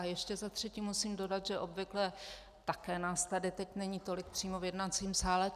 A ještě za třetí musím dodat, že obvykle také nás tady teď není tolik přímo v jednacím sále.